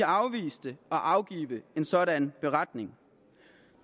afviste at afgive en sådan beretning